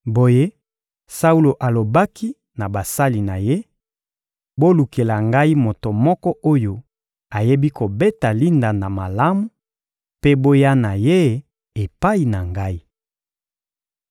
Boye Saulo alobaki na basali na ye: — Bolukela ngai moto moko oyo ayebi kobeta lindanda malamu, mpe boya na ye epai na ngai.